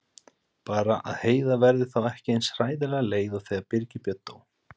Bara að Heiða verði þá ekki eins hræðilega leið og þegar Birgir Björn dó.